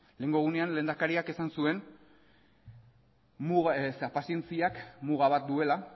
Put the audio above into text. lehenengo egunean lehendakariak esan zuen pazientziak muga bat duela